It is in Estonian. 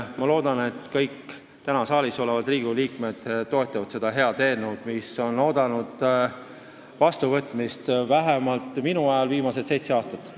Ma loodan, et kõik täna saalis olevad Riigikogu liikmed toetavad seda head eelnõu, mis on oodanud vastuvõtmist – vähemalt minu ajal – viimased seitse aastat.